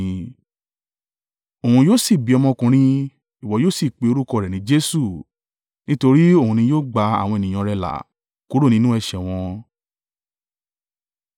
Òun yóò sì bí ọmọkùnrin, ìwọ yóò sì pe orúkọ rẹ̀ ní Jesu, nítorí òun ni yóò gba àwọn ènìyàn rẹ̀ là kúrò nínú ẹ̀ṣẹ̀ wọn.”